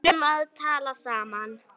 Við kunnum að tala saman.